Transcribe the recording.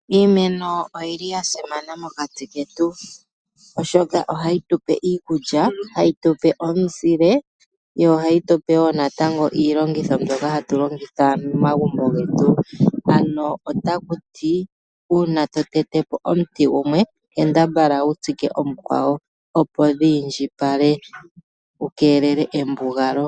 Iimeno oyili yasimana mokati ketu, oshoka ohayi tupe iikulya hayi tupe omuzile yo ohayi tupe woo natango iilongitho mbyoka hatu longitha momagumbo getu ,ano otakuti una tote te po omuti gumwe kambadhala wu tsike omukwawo opo dhi iindjipale kukelelwe embugapalo.